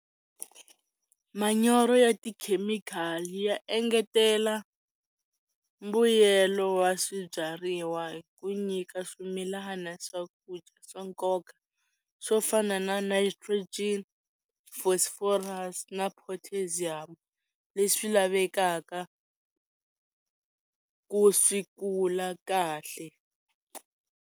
Manyoro ya tikhemikhali ya engetela mbuyelo wa swibyariwa hi ku nyika swimilana swakudya swa nkoka swo fana na nitrogen phosphorus na potassium leswi lavekaka ku swi kula kahle.